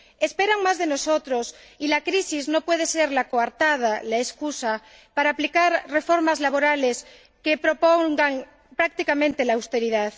Esperan más de nosotros y la crisis no puede ser la coartada, la excusa, para aplicar reformas laborales que propongan prácticamente la austeridad.